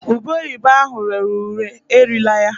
Ube oyibo ahụ rere ure erila ya